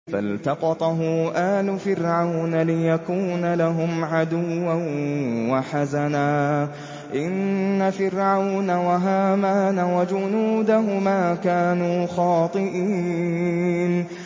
فَالْتَقَطَهُ آلُ فِرْعَوْنَ لِيَكُونَ لَهُمْ عَدُوًّا وَحَزَنًا ۗ إِنَّ فِرْعَوْنَ وَهَامَانَ وَجُنُودَهُمَا كَانُوا خَاطِئِينَ